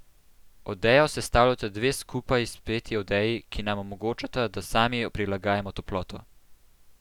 Odejo sestavljata dve skupaj speti odeji, ki nam omogočata, da sami prilagajamo toploto.